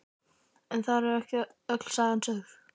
En þar með var ekki öll sagan sögð.